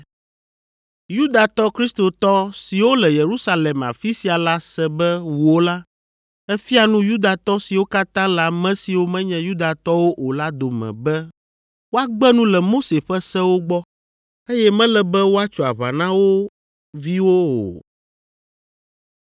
Yudatɔ Kristotɔ siwo le Yerusalem afi sia la se be wò la, èfia nu Yudatɔ siwo katã le ame siwo menye Yudatɔwo o la dome be woagbe nu le Mose ƒe sewo gbɔ, eye mele be woatso aʋa na wo viwo o.